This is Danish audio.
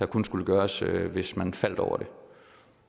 kun skulle gøres hvis man faldt over det